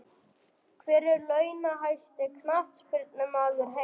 Hver er launahæsti Knattspyrnumaður heims?